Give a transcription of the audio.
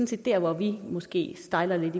set der hvor vi måske stejler lidt